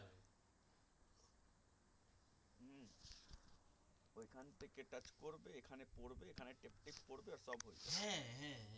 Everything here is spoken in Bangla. হ্যাঁ হ্যাঁ